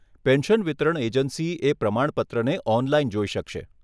Pension વિતરણ agency એ પ્રમાણપત્રને ઓનલાઈન જોઈ શકશે.